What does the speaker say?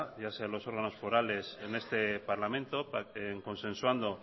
ya sean los órganos forales en este parlamento consensuando